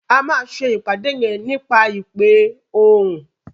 A má ṣe ìpàdé yén nípa ìpè òhún